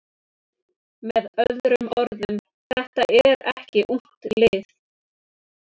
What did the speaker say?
Með öðrum orðum: Þetta er ekki ungt lið.